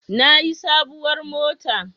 Na yi sabuwar mota